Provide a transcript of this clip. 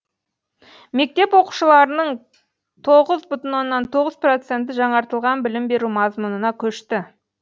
мектеп оқушыларының тоғыз бүтін тоғыз проценті жаңартылған білім беру мазмұнына көшті